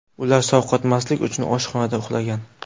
Ular sovqotmaslik uchun oshxonada uxlagan.